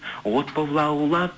от боп лаулап